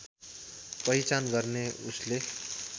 पहिचान गर्ने उसले